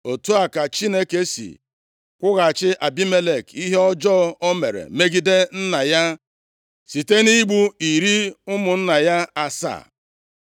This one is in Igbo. Otu a ka Chineke si kwụghachi Abimelek ihe ọjọọ o mere megide nna ya site nʼigbu iri ụmụnna ya asaa.